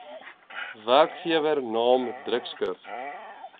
werkgewer naam drukskrif